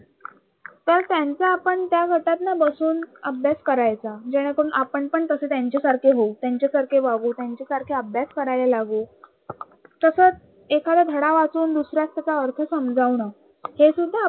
तर त्यांच्या आपण त्या गटात ना बसून अभ्यास करायचा जेणेकरून आपण पण तस त्यांच्यासारखे होऊ, त्यांच्यासारखे वागू, त्यांच्यासारखे अभ्यास करायला लागू. तसच एखादा धडा वाचून दुसऱ्या त्याचा अर्थ समजावणं हे सुद्धा